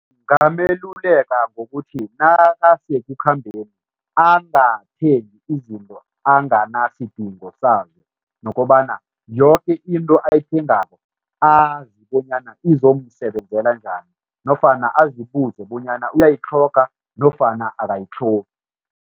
Ngingameluleka ngokuthi nakasekukhambeni angathengi izinto anganasidinga sazo nokobana yoke into ayithengako azi bonyana izomsebenzela njani nofana azibuze bonyana uyayitlhoga nofana akayitlhogi.